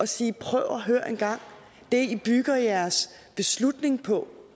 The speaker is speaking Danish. sige prøv at høre engang det i bygger jeres beslutning på